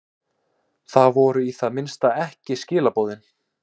Það voru í það minnsta ekki skilaboðin.